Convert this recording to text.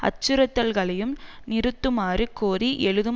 அச்சுறுத்தல்களையும் நிறுத்துமாறு கோரி எழுதும்